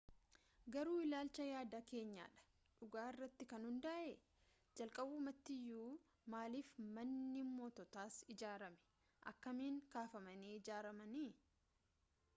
garuu ilaalchaa yaada keenya dha dhugaa irratti kan hundaa'e jalqabumaatiyu maaliif manni mootoots ijaarame akkamin kafamanii ijaaramanii